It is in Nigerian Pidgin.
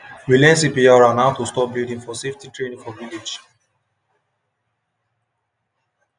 we learn cpr and how to stop bleeding for safety training for village